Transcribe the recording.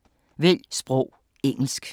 Vælg sprog: engelsk